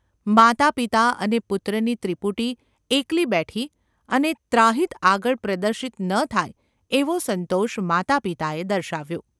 માતાપિતા અને પુત્રની ત્રિપુટી એકલી બેઠી અને ત્રાહિત આગળ પ્રદર્શિત ન થાય એવો સંતોષ માતાપિતાએ દર્શાવ્યો.